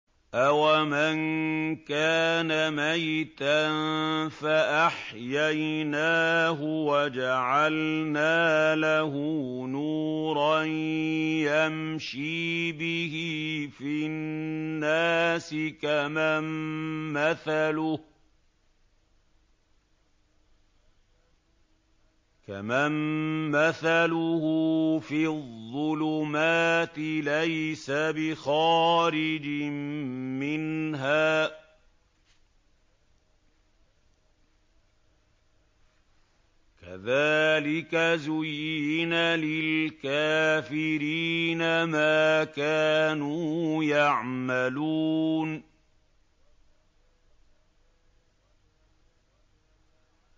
أَوَمَن كَانَ مَيْتًا فَأَحْيَيْنَاهُ وَجَعَلْنَا لَهُ نُورًا يَمْشِي بِهِ فِي النَّاسِ كَمَن مَّثَلُهُ فِي الظُّلُمَاتِ لَيْسَ بِخَارِجٍ مِّنْهَا ۚ كَذَٰلِكَ زُيِّنَ لِلْكَافِرِينَ مَا كَانُوا يَعْمَلُونَ